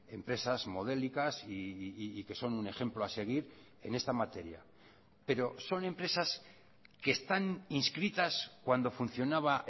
empresas modélicas y que son un ejemplo a seguir en esta materia pero son empresas que están inscritas cuando funcionaba